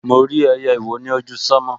Mo rí ẹyẹ ìwó ni ojú sánmọ̀